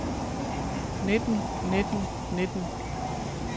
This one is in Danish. nitten nitten nitten